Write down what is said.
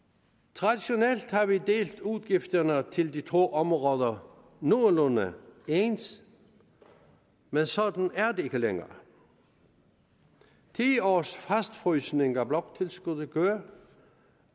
traditionelt har vi delt udgifterne til de to områder nogenlunde ens men sådan er det ikke længere ti års fastfrysning af bloktilskuddet